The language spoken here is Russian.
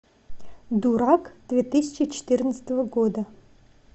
дурак две тысячи четырнадцатого года